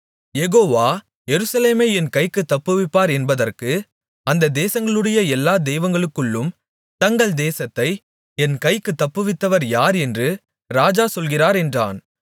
யெகோவா எருசலேமை என் கைக்குத் தப்புவிப்பார் என்பதற்கு அந்தத் தேசங்களுடைய எல்லா தெய்வங்களுக்குள்ளும் தங்கள் தேசத்தை என் கைக்குத் தப்புவித்தவர் யார் என்று ராஜா சொல்கிறார் என்றான்